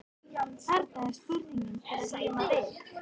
Þarna er spurning til að glíma við.